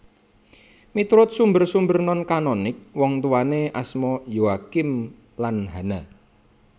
Miturut sumber sumber non kanonik wongtuwané asma Yoakim lan Hana